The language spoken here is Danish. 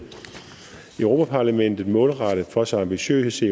europa parlamentet målrettet for så ambitiøse